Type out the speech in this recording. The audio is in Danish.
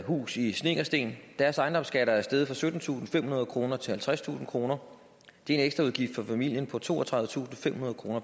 hus i snekkersten deres ejendomsskat er steget fra syttentusinde og femhundrede kroner til halvtredstusind kroner det er en ekstraudgift for familien på toogtredivetusinde og femhundrede kroner